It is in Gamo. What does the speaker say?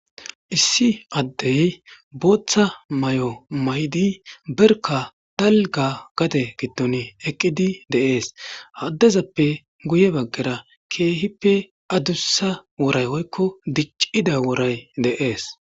Issi Adey Bootha mayo mayid berka dalga gade giddon eqid de'es. Ha adezappe guye bagara keehippe adusa woray woyko dicida woray Des.